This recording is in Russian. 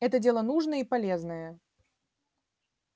это дело нужное и полезное